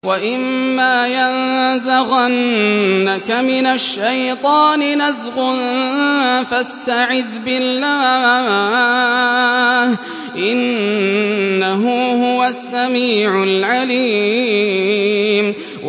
وَإِمَّا يَنزَغَنَّكَ مِنَ الشَّيْطَانِ نَزْغٌ فَاسْتَعِذْ بِاللَّهِ ۖ إِنَّهُ هُوَ السَّمِيعُ الْعَلِيمُ